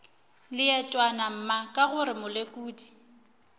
leetwana mma ka gore molekodi